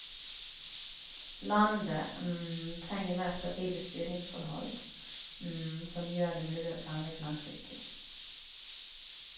Landet trenger mer stabile styringsforhold som gjør det mulig å planlegge langsiktig.